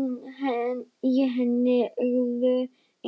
Lungun í henni urðu